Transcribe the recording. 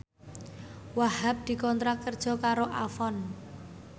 Wahhab dikontrak kerja karo Avon